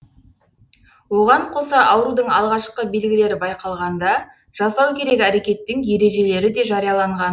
оған қоса аурудың алғашқы белгілері байқалғанда жасау керек әрекеттердің ережелері де жарияланған